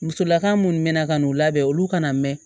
Musolaka minnu bɛ na ka n'u labɛn olu ka na mɛn